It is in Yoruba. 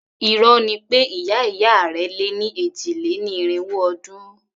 Irọ́ ni pé ìyá ìyá rẹ̀ lé ní èjì-lé-ní-irínwó ọdún.